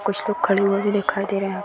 कुछ लोग खड़े हुए भी दिखाई दे रहे है।